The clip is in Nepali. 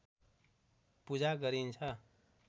पूजा गरिन्छ